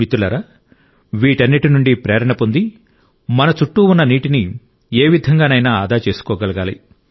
మిత్రులారా వీటన్నిటి నుండి ప్రేరణ పొంది మన చుట్టూ ఉన్న నీటిని ఏ విధంగానైనా ఆదా చేసుకోగలగాలి